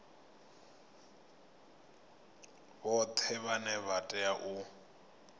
vhoṱhe vhane vha tea u